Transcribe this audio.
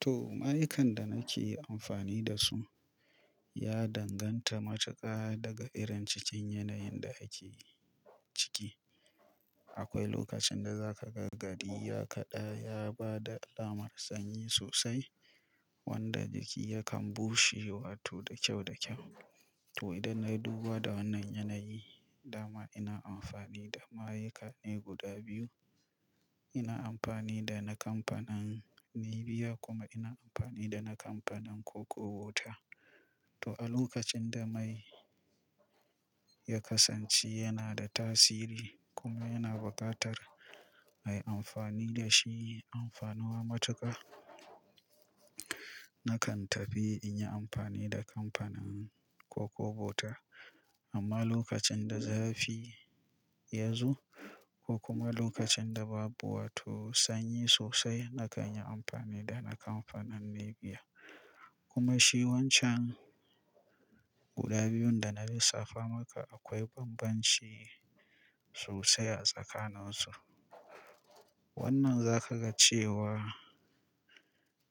To, ma'aikar da nake amfani da su ya danganta matuƙa daga irin cikin yanayin da ake ciki. Akwai lokacin da za ka ga gari ya kaɗa ya ba da alamar sanyi sosai wanda jiki yakan bushe wato da kyau da kyau. To idan na duba da wannan yanayi dama ina amfani da ma'aikane guda biyu. Ina amfani da na kamfanin Neviya kuma ina amfani da na kamfanin Koko Wota. To a lokacin da mai ya kasance yana da tasiri kuma yana buƙatar a yi amfani da shi amfanuwa matuƙa, nakan tafi in yi amfani da kamfanin Koko Wota. Amma lokacin da zafi ya zo ko kuma lokacin da babu wato sanyi sosai nakan yi amfani da na kamfanin Neviya. Kuma shi wancan guda biyun da na lissafa maka akwai banbanci sosai a tsakanin su. Wannan za ka ga cewa